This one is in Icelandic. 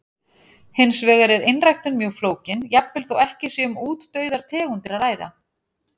Hins vegar er einræktun mjög flókin, jafnvel þó ekki sé um útdauðar tegundir að ræða.